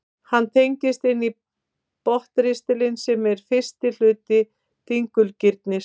hann tengist inn í botnristilinn sem er fyrsti hluti digurgirnis